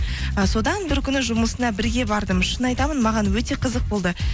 і содан бір күні жұмысына бірге бардым шын айтамын маған өте қызық болды